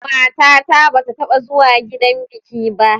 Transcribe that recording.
Matata ba ta taɓa zuwa gidan biki ba.